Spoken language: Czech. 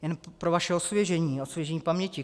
Jen pro vaše osvěžení, osvěžení paměti.